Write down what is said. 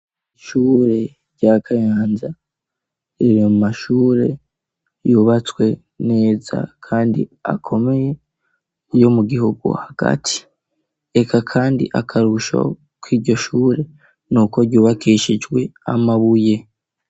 Ishure rya Kayanza riri mu mashure yubatswe neza kandi akomeye yo mu gihugu hagati reka kandi akarusho kiryo shure nuko ryubakishijwe amabuye.